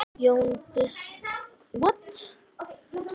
Jón biskup talaði lágt.